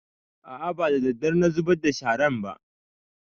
A'a ba daddare na zubar da sharan ba